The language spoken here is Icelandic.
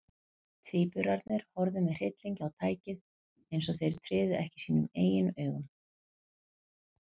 Tvíburarnir horfðu með hryllingi á tækið, eins og þeir tryðu ekki sínum eigin augum.